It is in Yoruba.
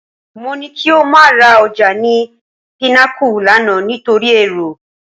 Mo ní kí o má ra ọjà ni Pinnacle lánàá nítorí èrò